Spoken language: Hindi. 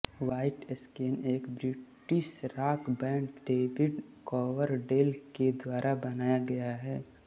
वाईटस्नेक एक British rock band David Coverdale के द्वारा बनाया गया है